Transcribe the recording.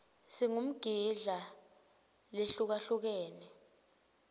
singmidla lehlukahlukene